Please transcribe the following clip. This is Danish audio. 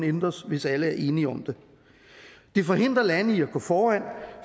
ændres hvis alle er enige om det det forhindrer lande i at gå foran